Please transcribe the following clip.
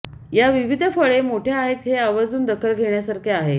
या विविध फळे मोठ्या आहेत हे आवर्जून दखल घेण्यासारखे आहे